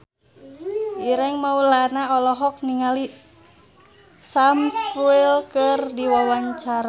Ireng Maulana olohok ningali Sam Spruell keur diwawancara